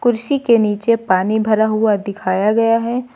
कुर्सी के नीचे पानी भरा हुआ दिखाया गया है।